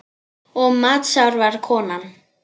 Og matsár var konan.